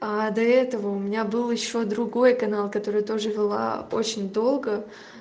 а до этого у меня был ещё другой канал который тоже вела очень долго